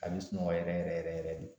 A be sunɔgɔ yɛrɛ yɛrɛ yɛrɛ yɛrɛ de